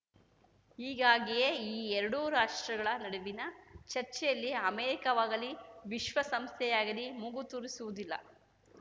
ಹೀಗಾಗಿಯೇ ಈ ಎರಡೂ ರಾಷ್ಟ್ರಗಳ ನಡುವಿನ ಚರ್ಚೆಯಲ್ಲಿ ಅಮೇರಿಕಾವಾಗಲಿ ವಿಶ್ವಸಂಸ್ಥೆಯಾಗಲಿ ಮೂಗು ತೂರಿಸುವುದಿಲ್ಲ